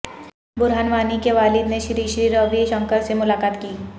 برہان وانی کے والد نے شری شری روی شنکر سے ملاقات کی